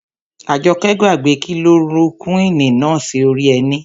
Àjọkẹ́ gbàgbé kilorokúwìnì náà sí orí ẹní